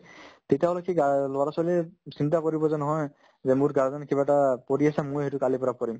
তেতিয়াহ'লে কি guar ল'ৰা-ছোৱালীয়ে চিন্তা কৰিব যে নহয় যে মোৰ guardian য়ে কিবা এটা পঢ়ি আছে ময়ো সেইটো কালিৰ পৰা পঢ়িম